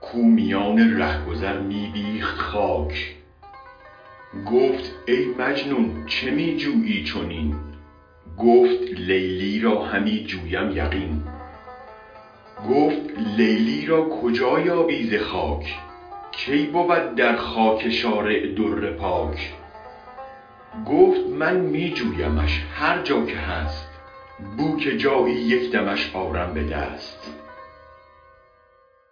کو میان ره گذر می بیخت خاک گفت ای مجنون چه می جویی چنین گفت لیلی را همی جویم یقین گفت لیلی را کجا یابی ز خاک کی بود در خاک شارع در پاک گفت من می جویمش هر جا که هست بوک جایی یک دمش آرم به دست